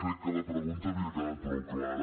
crec que la pregunta havia quedat prou clara